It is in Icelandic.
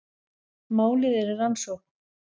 Málið er í rannsókn